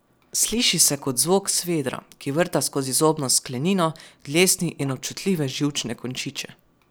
Sliši se kot zvok svedra, ki vrta skozi zobno sklenino, dlesni in občutljive živčne končiče.